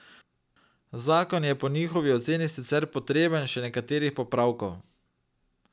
Zakon je po njihovi oceni sicer potreben še nekaterih popravkov.